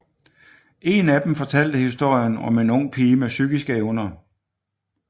En af dem fortalte historien om en ung pige med psykiske evner